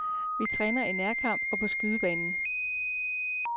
Vi træner i nærkamp og på skydebanen.